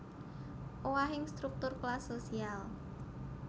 Owahing struktur kelas sosial